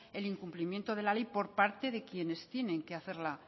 el incumplimiento de la ley por parte de quienes tienen que hacerla